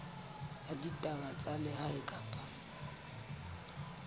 ya ditaba tsa lehae kapa